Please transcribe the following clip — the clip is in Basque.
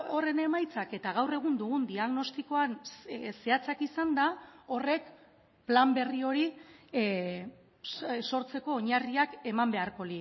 horren emaitzak eta gaur egun dugun diagnostikoan zehatzak izanda horrek plan berri hori sortzeko oinarriak eman beharko